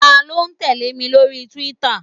Ta ló tẹ̀lé mi lórí túwítà?